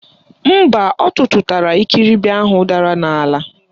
Mba, ọ tụtụtara ikiribi ahụ dara n'ala.